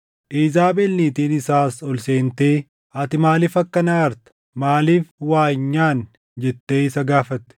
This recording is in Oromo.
Iizaabel niitiin isaas ol seentee, “Ati maaliif akkana aarta? Maaliif waa hin nyaanne?” jettee isa gaafatte.